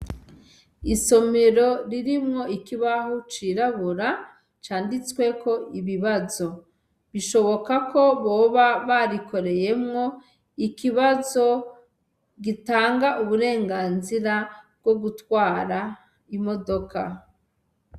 Isomero ririmwo ikibaho cirabura canditsweko ibibazo, bishoboka ko boba barikoreyemwo ikibazo gitanga uburenganzira bwo gutwara imodoka.